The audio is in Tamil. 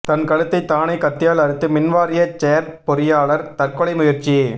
தன் கழுத்தைத் தானே கத்தியால் அறுத்து மின்வாரிய செயற்பொறியாளா் தற்கொலை முயற்சி